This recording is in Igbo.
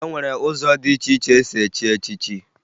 E nwere ụzọ dị iche iche esi echi echichi